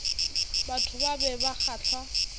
batho ba be ba kgahlwa